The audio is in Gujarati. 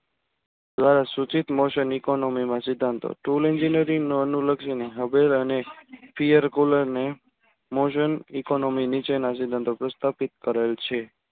ધ્વારાસૂચિત moosun economy મા સિદ્ધાંતો tool engineering અનુલક્ષી ને haber અને piyar cooler ને mausan economy નીચેના સિદ્ધાંતો પ્રસ્થાપિત કરેલ છે.